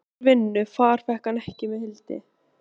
Oft úr vinnu far hann fékk með Hildi.